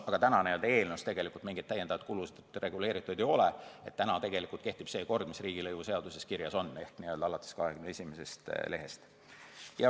Aga praegu eelnõus mingeid lisakulusid reguleeritud ei ole ja kehtib see kord, mis on riigilõivuseaduses kirjas ehk alates 21. lehest.